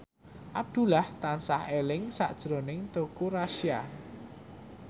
Abdullah tansah eling sakjroning Teuku Rassya